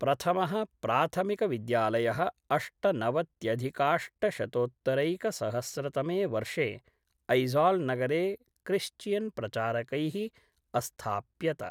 प्रथमः प्राथमिकविद्यालयःअष्टनवत्यधिकाष्टशतोत्तरैकसहस्रतमे वर्षे ऐज़ाल् नगरे क्रिश्चियन्प्रचारकैः अस्थाप्यत।